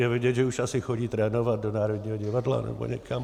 Je vidět, že už asi chodí trénovat do Národního divadla nebo někam.